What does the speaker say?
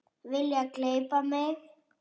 Vilja gleypa mig.